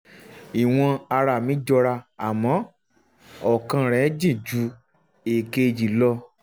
ìwọ̀n ara mi jọra àmọ́ ọ̀kan rèé ó jìn ju èkejì lọ